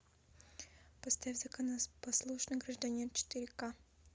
поставь законопослушный гражданин четыре ка